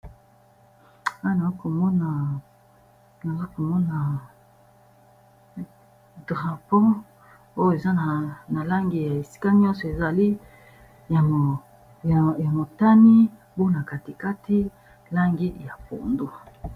awa nazakomona drapon oyo eza na langi ya esika nyonso ezali ya motani mpona katikati langi ya pondo